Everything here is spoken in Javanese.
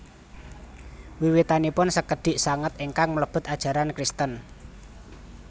Wiwitanipun sekedhik sanget ingkang mlebet ajaran Kristen